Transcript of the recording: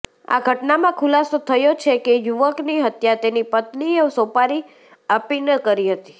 આ ઘટનામાં ખુલાસો થયો છે કે યુવકની હત્યા તેની પત્નીએ સોપારી આપીને કરી હતી